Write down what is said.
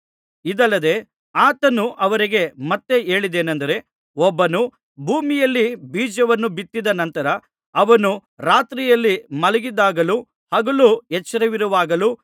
ಇದಲ್ಲದೆ ಆತನು ಅವರಿಗೆ ಮತ್ತೆ ಹೇಳಿದೇನಂದರೆ ಒಬ್ಬನು ಭೂಮಿಯಲ್ಲಿ ಬೀಜವನ್ನು ಬಿತ್ತಿದ ನಂತರ ಅವನು ರಾತ್ರಿಯಲ್ಲಿ ಮಲಗಿದ್ದಾಗಲೂ ಹಗಲು ಎಚ್ಚರವಿರುವಾಗಲೂ